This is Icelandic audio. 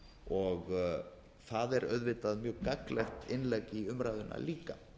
og það er auðvitað mjög gagnlegt innlegg í umræðuna líka